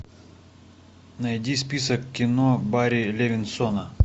найди список кино барри левинсона